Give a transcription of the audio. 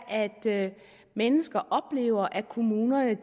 at mennesker oplever at kommunerne